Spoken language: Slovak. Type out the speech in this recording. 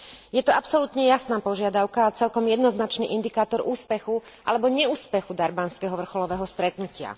Je to absolútne jasná požiadavka a celkom jednoznačný indikátor úspechu alebo neúspechu durbanského vrcholového stretnutia.